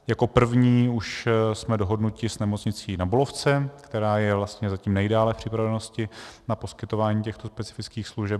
Jako první už jsme dohodnuti s Nemocnicí Na Bulovce, která je vlastně zatím nejdále v připravenosti na poskytování těchto specifických služeb.